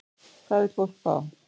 Hvað vill fólk fá?